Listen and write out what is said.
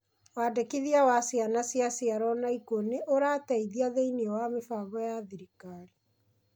Wandĩkithia wa ciana ciaciarwo na ikuũ nĩũrateithia thĩiniĩ wa mĩbango ya thirikari.